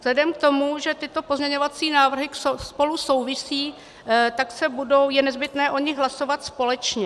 Vzhledem k tomu, že tyto pozměňovací návrhy spolu souvisí, tak je nezbytné o nich hlasovat společně.